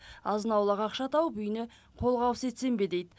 азын аулақ ақша тауып үйіне қолғабыс етсем бе дейді